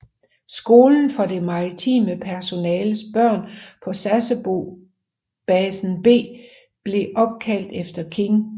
Skolen for det maritime personels børn på Sasebo basenb blev opkaldt efter King